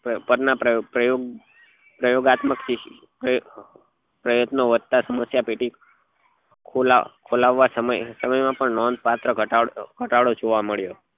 પર ના પ્રયોગ પ્રયોગ પ્રયોગાત્મક પ્રયત્ન વધતા સમસ્યા પેટી ખોલાવવા ખોલાવવા સમયે નોંધ પાત્ર ઘટાડો ઘટાડો જોવા મળ્યો